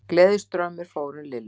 Gleðistraumur fór um Lillu.